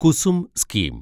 Kusum scheme